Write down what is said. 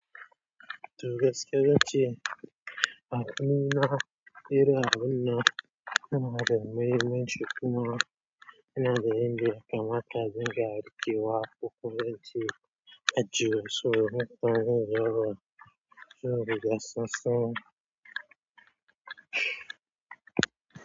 Toh gaskiya ince akwai na irin abin nan yana da muhimmanci kuma ina zauna ne kamar abinda kake riƙe wa ko kuma ince ajiye so nakan ce musu sun riga sun san.